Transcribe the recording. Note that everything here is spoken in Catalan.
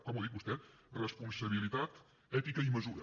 com ho ha dit vostè responsabilitat ètica i mesura